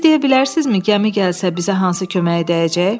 Siz deyə bilərsinizmi gəmi gəlsə bizə hansı köməyə dəyəcək?